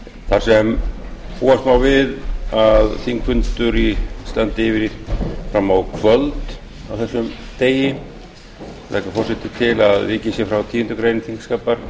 þar sem búast má við að þingfundur standi yfir fram á kvöld á þessum degi leggur forseti til að vikið sé frá tíundu greinar þingskapa